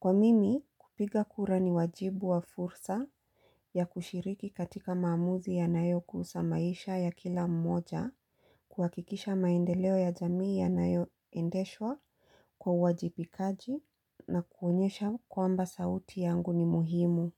Kwa mimi, kupiga kura ni wajibu wa fursa ya kushiriki katika maamuzi ya nayo kuusa maisha ya kila mmoja, kuhakikisha maendeleo ya jamii ya nayo endeshwa kwa uajibikaji na kuonyesha kwamba sauti yangu ni muhimu.